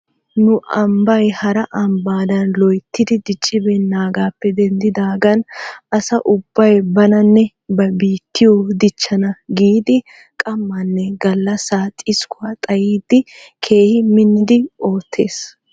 Nu ambbay hara ambbaadan loytyidi diccibeennaagaappe dinddidaagan asa ubbay bananne ba biittiyoo dichchana giidi qamaanne gallassaa xiskkuwaa xayidi keehi minnidi oottes.